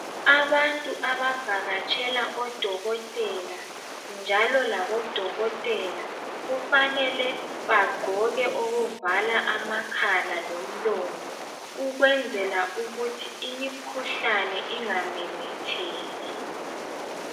Abantu abavakatshela odokotela, njalo labodokotela kufanele bagqoke okuvala amakhala lomlomo ukwenzela ukuthi imikhuhlane ingamemetheki.